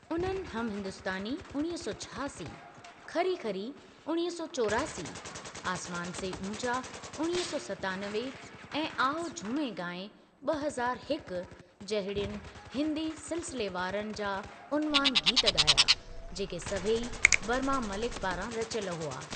उन्हनि हम हिंदुस्तानी (उणिवीह सौ छहासी), खरी खरी (उणिवीह सौ चोरासी), आसमान से ऊंचा (उणिवीह सौ सतानवे) ऐं आओ झूमें गाएँ (ॿ हज़ारु हिकु) जहिड़ियुनि हिंदी सिलसिलेवारनि जा उनवान गीत गा॒या, जेके सभई बर्मा मलिक पारां रचियल हुआ।